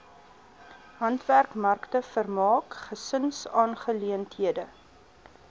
handwerkmarkte vermaak gesinsaangeleenthede